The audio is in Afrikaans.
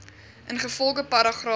ingevolge paragraaf